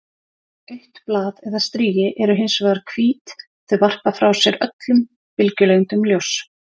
Autt blað eða strigi eru hins vegar hvít- þau varpa frá sér öllum bylgjulengdum ljóss.